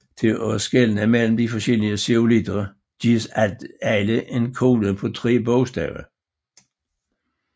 Til at skelne mellem de forskellige zeolitter gives alle en kode på tre bogstaver